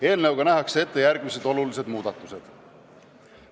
Eelnõuga nähakse ette järgmised muudatused.